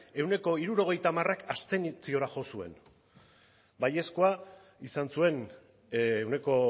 ehuneko hirurogeita hamarrak abstentziora jo zuen baiezkoa izan zuen ehuneko